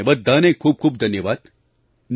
તમને બધાને ખૂબ ખૂબ ધન્યવાદ